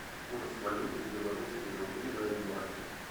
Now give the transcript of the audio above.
курс валюты белорусские рубли на юани